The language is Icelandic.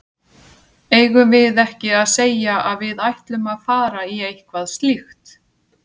Eigum við ekki að segja að við ætlum að fara í eitthvað slíkt?